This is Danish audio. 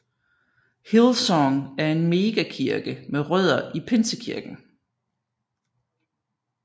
Hillsong er en megakirke med rødder i pinsekirken